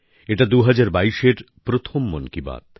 এটা ২০২২এর প্রথম মন কি বাত